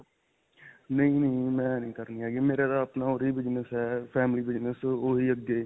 ਨਹੀਂ-ਨਹੀਂ. ਮੈਂ ਨਹੀਂ ਕਰਨੀ ਹੈਗੀ. ਮੇਰਾ ਤਾਂ ਆਪਣਾ ਉਰੇ ਹੀ business ਹੈ, family business ਓਹੀ ਅੱਗੇ.